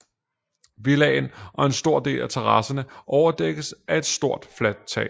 Villaen og en stor del af terasserne overdækkes af ét stort fladt tag